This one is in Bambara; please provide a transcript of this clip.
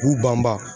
K'u banba